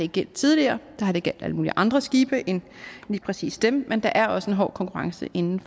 gjaldt tidligere der har det gjaldt alle mulige andre skibe end lige præcis dem men der er også en hård konkurrence inden